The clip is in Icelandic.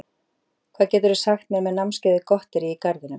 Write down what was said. Hvað geturðu sagt mér um námskeiðið Gotterí úr garðinum?